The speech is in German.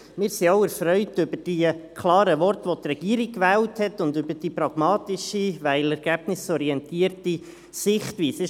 Wir sind auch erfreut über die klaren Worte, welche die Regierung gewählt hat und über die pragmatische, weil ergebnisorientierte Sichtweise.